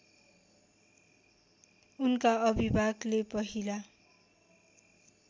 उनका अभिभाकले पहिला